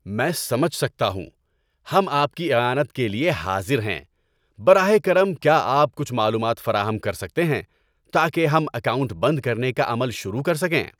میں سمجھ سکتا ہوں۔ ہم آپ کی اعانت کے لیے حاضر ہیں۔ براہ کرم، کیا آپ کچھ معلومات فراہم کر سکتے ہیں تاکہ ہم اکاؤنٹ بند کرنے کا عمل شروع کر سکیں؟